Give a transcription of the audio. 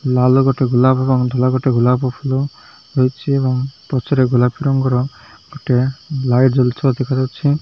ଲାଲ ଗୋଟେ ଗୁଲାପ ଏବଂ ମଧ୍ୟ ଲାଗୁଚି ଗୁଲାପ ଫୁଲ ରହିଚି ଏବଂ ପଛରେ ଗୋଲାପି ରଙ୍ଗର ଗୋଟିଏ ଲାଇଟ ଜଳୁଥିବାର ଦେଖା ଯାଉଚି।